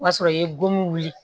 O y'a sɔrɔ i ye gomin wuli